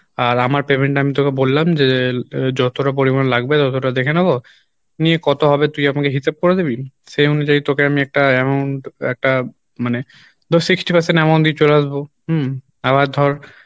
আর আমার payment টা আমি তোকে বললাম যে আহ যতটা পরিমাণ লাগবে ততটা দেখে নেবো নিয়ে কত হবে তুই আমাকে হিসাব করে দিবি সে অনুযায় তোকে আমি একটা amount একটা মানে ধর sixty percent amount দিয়ে চলে আসবো হম আবার ধর